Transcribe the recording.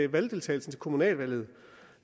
valgdeltagelsen til kommunalvalget